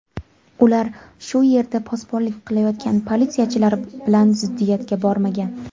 Ular shu yerda posbonlik qilayotgan politsiyachilar bilan ziddiyatga bormagan.